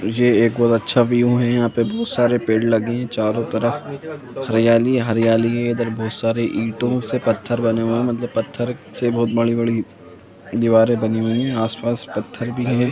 ये एक बहुत अच्छा व्यू है यहां पर बहुत सारे पेड़ लगे हैं चारों तरफ हरियाली ही हरियाली है इधर बहुत सारे ईंटों से पत्थर बना हुआ है मतलब पत्थर से बहुत बड़ी-बड़ी दिवारी बनी हुई है आस पास पत्थर भी है।